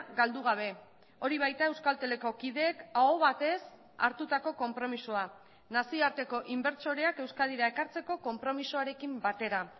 galdu gabe hori baita euskalteleko kideek aho batez hartutako konpromisoa nazioarteko inbertsoreak euskadira ekartzeko konpromisoarekin batera